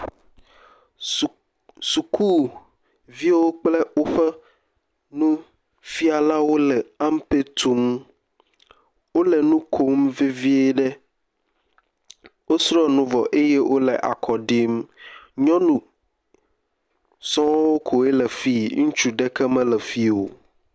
Suk sukuviwo kple woƒe nufialawo le ampe tum. Wo le nu kom vevie ɖe. wosrɔ nu vɔ eye wo le akɔ ɖim. Nyɔnu sɔ koe le fie, ŋutsu ɖeke mele fii o.